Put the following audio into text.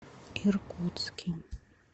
иркутске